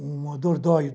Um dordóio.